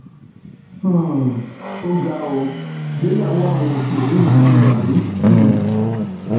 um ó ga ó ìgbéyàwó àwọn òṣèré yìí ti dàrú um